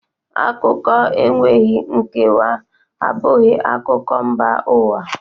Akụkọ enweghị nkewa abụghị akụkọ mba ụwa